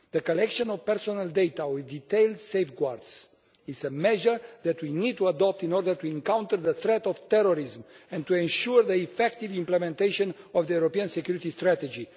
The collection of personal data with detailed safeguards is a measure that we need to adopt in order to counter the threat of terrorism and to ensure the effective implementation of the European Security Strategy.